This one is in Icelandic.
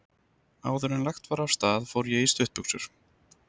Áðuren lagt var af stað fór ég í stuttbuxur.